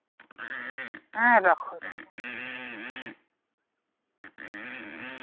হ্যাঁ রাখো রাখো